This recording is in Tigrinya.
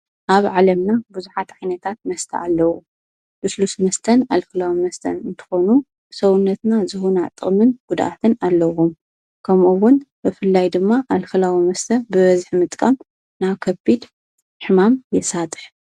ኣብ ዓለምና ብዙኃት ኣይነታት መስተ ኣለዉ ሉስሉስ ስንስተን ኣልክላዊ መስተን እንትኾኑ ሰውነትና ዝሁኑጥምን ጕድኣትን ኣለኹ ከምኡውን በፍላይ ድማ ኣልክላዊ መስተ ብበዝኅ ምጥቃም ና ከቢድ ሕማም የሳጠሕ።